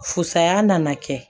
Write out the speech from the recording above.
Fusaya nana kɛ